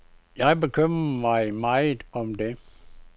Jeg bekymrer mig meget om det.